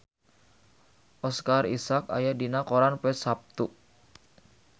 Oscar Isaac aya dina koran poe Saptu